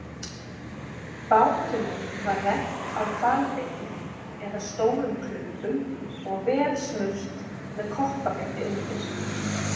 Bátunum var rennt á hvalbeinum eða stórum klumpum og vel smurt með koppafeiti undir.